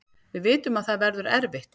Við vitum að það verður erfitt